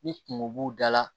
Ni kungo b'u da la